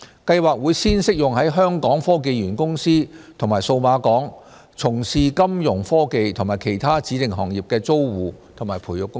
計劃會先適用於在香港科技園公司及數碼港從事金融科技及其他指定行業的租戶和培育公司。